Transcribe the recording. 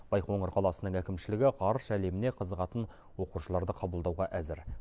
байқоңыр қаласының әкімшілігі ғарыш әлеміне қызығатын оқушыларды қабылдауға әзір